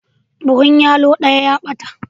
Buhun yallo daya ya bata.